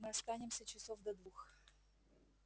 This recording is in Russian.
мы останемся часов до двух